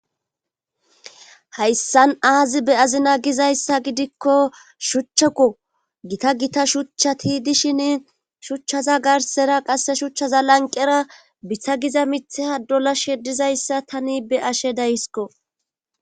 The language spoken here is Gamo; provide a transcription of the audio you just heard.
hayssan aazi be'azina gizayssa gidikko shuchchako gita gita shuchchati dishin shuchchaza garsera qasse shuchchaza lanqera bitha giza mitheha dola shedizayssa tani be'ashe daysko